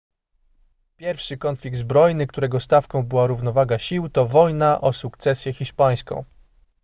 pierwszy konflikt zbrojny którego stawką była równowaga sił to wojna o sukcesję hiszpańską